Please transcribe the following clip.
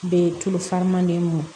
Be tulu faranman be mɔn